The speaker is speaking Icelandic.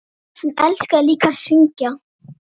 Hann elskaði líka að syngja.